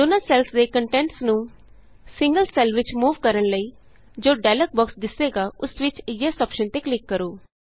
ਦੋਨਾਂ ਸੈੱਲਸ ਦੇ ਕੰਟੈਂਟਸ ਨੂੰ ਸਿੰਗਲ ਸੈੱਲ ਵਿਚ ਮੂਵ ਕਰਨ ਲਈਜੋ ਡਾਇਲੋਗ ਬੋਕਸ ਦਿੱਸੇਗਾ ਉਸ ਵਿਚ ਯੇਸ ਅੋਪਸ਼ਨ ਤੇ ਕਲਿਕ ਕਰੋ